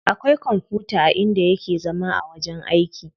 Akwai kwamfuta a inda yake zama a wajen aiki.